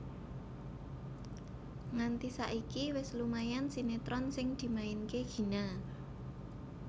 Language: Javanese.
Nganti saiki wis lumayan sinetron sing dimainke Gina